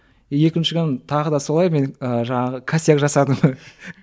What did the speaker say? екінші күні тағы да солай мен і жаңағы косяк жасадым